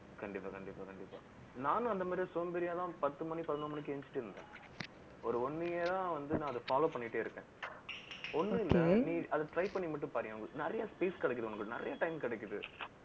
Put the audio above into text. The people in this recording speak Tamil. கண்டிப்பா, கண்டிப்பா, கண்டிப்பா நானும் அந்த மாதிரி சோம்பேறியாதான், பத்து மணி, பதினோரு மணிக்கு எந்திரிச்சிட்டிருந்தேன். ஒரு one year ஆ வந்து, நான் அதை follow பண்ணிட்டே இருக்கேன். ஒண்ணும் இல்லை, நீ அதை try பண்ணி மட்டும் பாரு. நிறைய space கிடைக்குது உனக்கு. நிறைய time கிடைக்குது